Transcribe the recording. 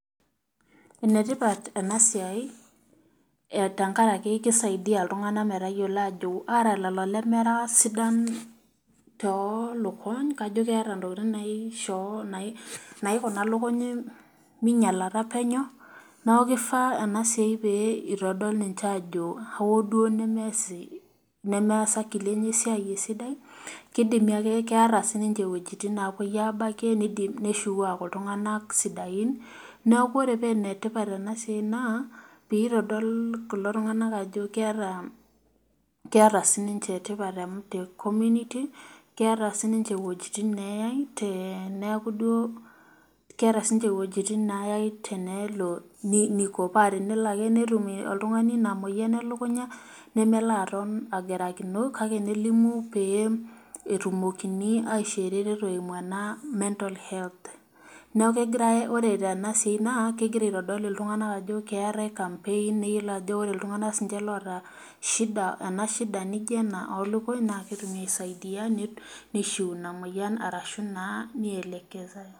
Enetipat ena siai tenkaraki keisaidia metayiolo ajo ,ata lelo lemera sidan tooluny , kejo keeta ntokiting naikuna lukuny meinyalata penyo ,neeku keifaa ena siai pee eitodol ninye ajo hoo duo nemees akili enye esidai ,keeta ake siininche iwejitin naapoi aabakie neidim neshukunyie aaku iltunganak sidain, neeku ore paa enetipat ena siai naa pee eitodol kulo tunganak ajo keeta siinche iwejitin neeyai teneeku duo, paa tenelo ake oltungani netum ina moyian elekunya nemelo aton agirakino ,kake nelimu pee etumokini aishoo ereteto ee mental health neeku ore tenasia naa kegira aitodol iltunganak ajo keetae campaign oltunganak siininche oota ena shida naijo ena oolunkuny nee kitum aisaidia neishu ina moyian neelekezae.